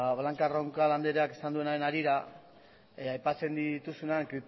blanca roncal andreak esan duenaren harira aipatzen dituzuenean